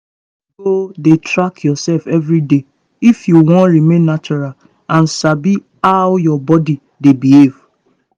you go need dey track yourself every day if you wan remain natural and sabi how your body dey behav